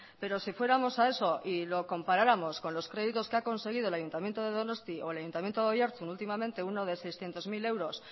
pero si fuéramos a eso y lo comparáramos con los créditos que ha conseguido el ayuntamiento de donostia o el ayuntamiento de oiartzun últimamente uno de seiscientos mil euros